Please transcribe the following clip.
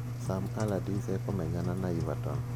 Sam Allardyce ekumenyana na Everton